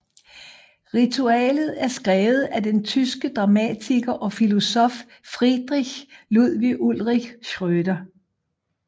Ritualet er skrevet af den tyske dramatiker og filosof Friedrich Ludwig Ulrich Schröder